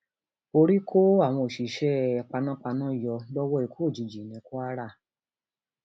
orí kó àwọn òṣìṣẹ panápaná yọ lọwọ ikú òjijì ní kwara